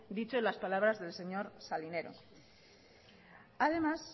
dicho en las palabras del señor salinero además